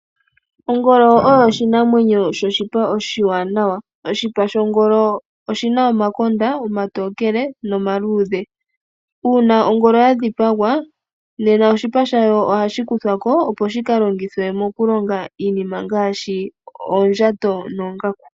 Ongolo oyo oshinamwenyo shoshipa oshiwanawa. Oshipa shongolo oshina omakonda omatokele nomaluudhe. Uuna ongolo yadhipagwa nena oshipa shayo ohashi kuthwako opo shikalongithwe mokulonga iinima ngaashi oondjato noongaku.